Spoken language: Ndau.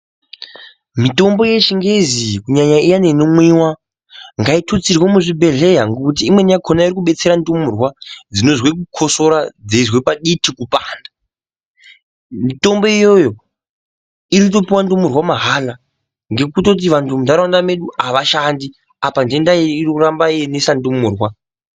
Mitombo yechingezi iyi kunyanya iyani inomwiwa ngaitutsirwe muzvibhedhleya ngokuti imweni yakona iri kudetsera ndumurwa dzinozwe kukosora dzeizwe paditi kupanda. Mitombo iyoyo iri kutopuwa ndumurwa mahala ngekutoti vanthu muntharaunda mwedu avashandi apa nthenda iyi iri kuramba yeinesa ndumurwa.